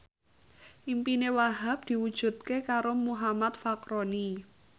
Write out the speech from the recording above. impine Wahhab diwujudke karo Muhammad Fachroni